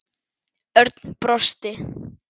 Örn brosti.